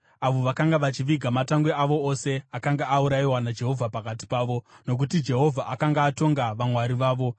avo vakanga vachiviga matangwe avo ose, akanga aurayiwa naJehovha pakati pavo; nokuti Jehovha akanga atonga vamwari vavo.